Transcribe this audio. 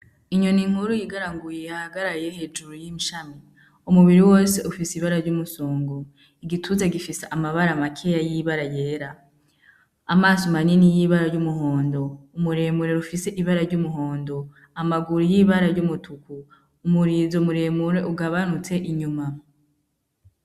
Inyoni nkuru igaraguye ihagaraye hejuru yi shami umubiri wose ufise ibara ry'umusongo igituza gifise amabara makeya y'ibara yera amaso manini y'ibara ry'umuhondo umuremurere ufise ibara ry'umuhondo amaguru ibara ry'umutuku umurizo muremure ugabanutse inyuma.